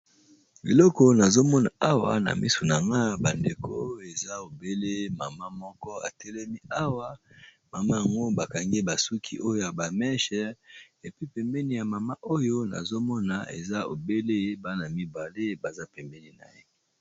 Biloko nazomona awa na misu nanga bandeko eza ebele mama moko atelemi awa mama yango bakangi ye suki oyo ya ba meches pe pembeni ya mama yango nazomona eza na bana mibale baza pembeni na ye.